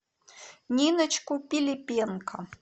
ниночку пилипенко